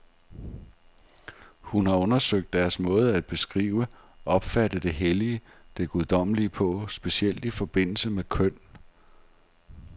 Hun har undersøgt deres måde at beskrive, opfatte det hellige, det guddommelige på, specielt i forbindelse med køn.